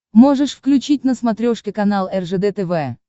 можешь включить на смотрешке канал ржд тв